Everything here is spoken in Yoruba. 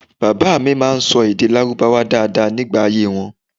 Baba mi ma n sọ èdè lárúbáwá daada nigba ayé wọn